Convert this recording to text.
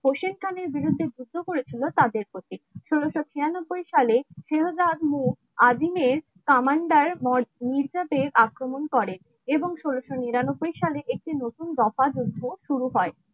হোসেন খানের বিরুদ্ধে যুদ্ধ করেছিল তাদের প্রতি ষোলশো ছিয়ানব্বই সাল আজিমের কামান্ডার আক্রমণ করে এবং ষোলশো নিরানব্বই সালে একটি নতুন দফা যুদ্ধ শুরু হয়.